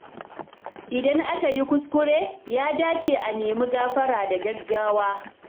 Idan aka yi kuskure, ya dace a nemi gafara da gaggawa.